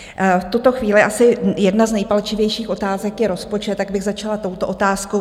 V tuto chvíli asi jedna z nejpalčivějších otázek je rozpočet, tak bych začala touto otázkou.